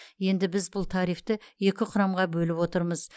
енді біз бұл тарифті екі құрамға бөліп отырмыз